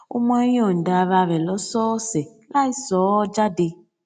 ó máa ń yòǹda ara rè lósòòsè láìsọọ jáde